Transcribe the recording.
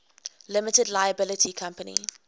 limited liability company